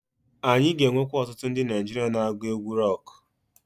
Anyị ga-enwekwu otutu ndi Naijiria na-agu egwu roku.